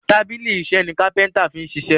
tábìlì iṣe ní kápẹ́ńtà fí ṣiṣe.